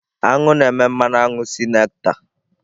Aṅụ na-eme mmanụ aṅụ si nectar.